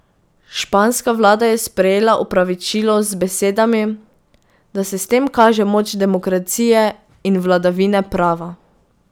Španska vlada je sprejela opravičilo z besedami, da se s tem kaže moč demokracije in vladavine prava.